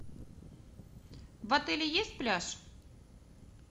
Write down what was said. в отеле есть пляж